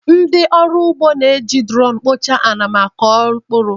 Ndị ọrụ ugbo ga-eji duroonu kpochaa ala ma kụọ mkpụrụ.